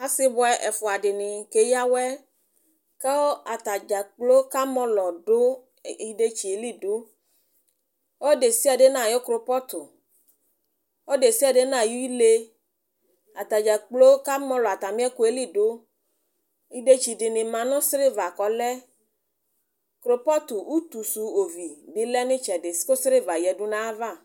asii bʋɛ ɛƒʋa dini kɛyawɛ kʋ atagya kplɔ kamɔlɔdʋ idɛtsiɛ li dʋ, ɔdɛsiadɛ nʋ ayi krʋpɔtʋ, ɔdɛsiadɛ nʋ ayi ilɛ, atagya kplɔ kamɔlɔ atami ɛkʋɛli dʋ, idɛtsi dini manʋ silver kʋ ɔlɛ? krʋpɔtʋ ʋtʋsʋ ɔvi bi lɛnʋ itsɛdi kʋ silver bi yanʋ aɣa